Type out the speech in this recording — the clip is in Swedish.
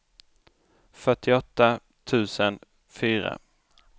fyrtioåtta tusen fyra